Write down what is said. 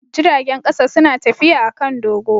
Jiragen kasa suna tafiya a kan dogo.